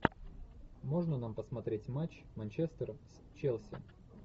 можно нам посмотреть матч манчестер с челси